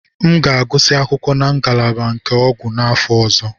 M ga-agụsị akwụkwọ na ngalaba nke ọgwụ n'afọ ọzọ.